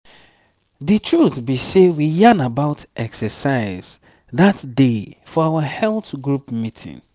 the truth be sey we yan about exercise that day for our health group meeting.